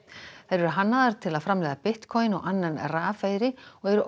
þær eru hannaðar til að framleiða Bitcoin og annan rafeyri og eru